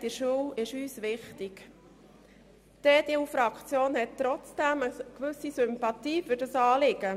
Die EDU-Fraktion bringt dem vorliegenden Anliegen trotzdem eine gewisse Sympathie entgegen.